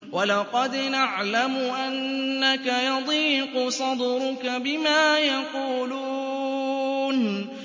وَلَقَدْ نَعْلَمُ أَنَّكَ يَضِيقُ صَدْرُكَ بِمَا يَقُولُونَ